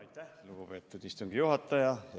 Aitäh, lugupeetud istungi juhataja!